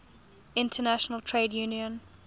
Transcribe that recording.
international trade union